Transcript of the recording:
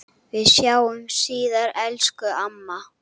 Við sjáumst síðar, elsku amma.